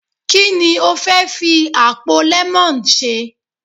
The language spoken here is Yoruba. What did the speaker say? Ki ni o fẹ́ fi àpò lemon ṣe.